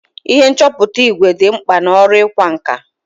Ihe nchọpụta ìgwè dị mkpa n'ọrụ ịkwa nkà.